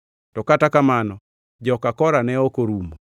To kata kamano, joka Kora ne ok orumo.